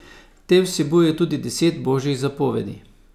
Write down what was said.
Te vsebujejo tudi deset božjih zapovedi.